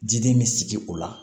Jiden bɛ sigi o la